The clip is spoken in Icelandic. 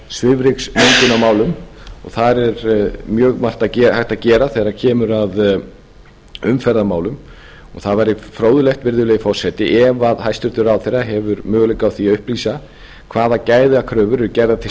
og þar er mjög margt hægt að gera þegar kemur að umferðarmálum það væri fróðlegt virðulegi forseti ef hæstvirtur ráðherra hefur möguleika á því að upplýsa hvaða gæðakröfur eru gerðar til